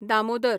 Damodar